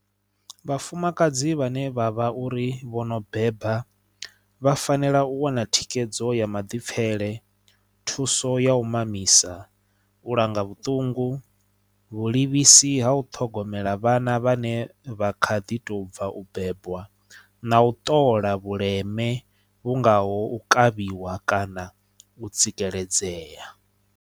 Vhafumakadzi vhane vhavha uri vho no beba vha fanela u wana thikhedzo ya maḓipfele thuso ya u mamisa u langa vhuṱungu vhulivhisi ha u ṱhogomela vhana vhane vha kha ḓi tou bva u bebwa na u ṱola vhuleme vhu ngaho u kavhiwa kana u tsikeledzea.